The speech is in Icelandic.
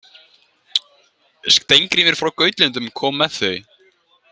Steingrímur frá Gautlöndum kom með þau.